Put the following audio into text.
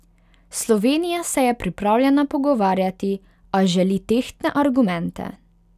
Slovenija se je pripravljena pogovarjati, a želi tehtne argumente.